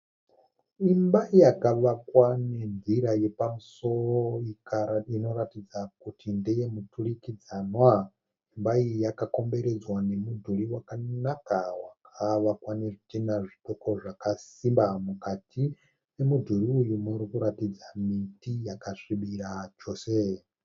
Imba yakavakwa nenzira yepamusoro inoratidza kuti ndeyemuturikidzanwa. Imba iyi yakakomberedzwa nemudhuri wakanaka wakavakwa nezvidhina zvidoko zvakasimba. Mukati memudhuri uyu murikuratidza miti yakasvibira chose.